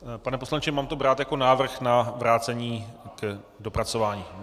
Pane poslanče, mám to brát jako návrh na vrácení k dopracování.